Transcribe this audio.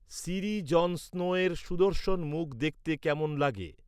সিরি Jon স্নোয়ের সুদর্শন মুখ দেখতে কেমন লাগে?